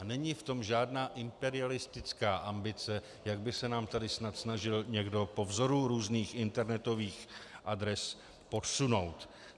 A není v tom žádná imperialistická ambice, jak by se nám tady snad snažil někdo po vzoru různých internetových adres podsunout.